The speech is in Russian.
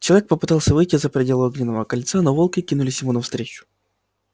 человек попытался выйти за пределы огненного кольца но волки кинулись ему навстречу